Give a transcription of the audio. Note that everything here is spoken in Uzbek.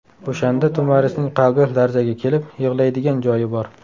O‘shanda To‘marisning qalbi larzaga kelib, yig‘laydigan joyi bor.